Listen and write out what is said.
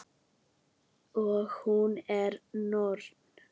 Og hún er norn.